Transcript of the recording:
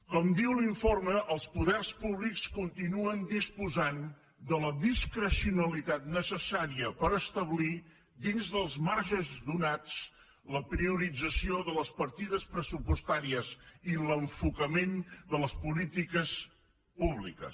com diu l’informe els poders públics continuen disposant de la discrecionalitat necessària per establir dins dels marges donats la priorització de les partides pressupostàries i l’enfocament de les polítiques públiques